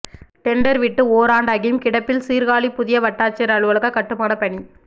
tender விட்டு ஓராண்டாகியும் கிடப்பில் சீர்காழி புதிய வட்டாட்சியர் அலுவலகக் கட்டுமானப் பணி